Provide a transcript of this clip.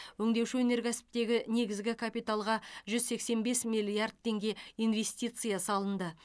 өңдеуші өнеркәсіптегі негізгі капиталға жүз сексен бес миллиард теңге инвестиция салынды